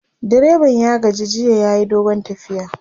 direban ya gaji jiya yayi dogon tafiya